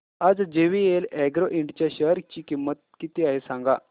आज JVL Agro Ind च्या share ची किंमत किती आहे सांगा